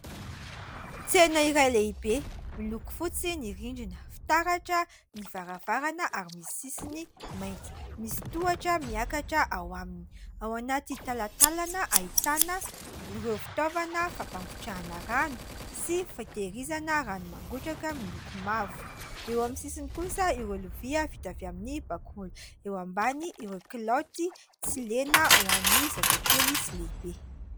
Tsena iray lehibe miloko fotsy ny rindrina, fitaratra ny varavarana ary misy sisiny mainty. Misy tohatra miakatra ao aminy. Ao anaty talatalana ahitana ireo fitaovana fampangotrahana rano sy fitehirizana rano mangotraka miloko mavo. Eo amin'ny sisiny kosa ireo lovia vita avy amin'ny bakoly, eo ambany ireo kilaoty tsy lena ho an'ny zazakely sy lehibe.